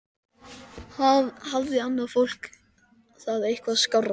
Hafði annað fólk það eitthvað skárra?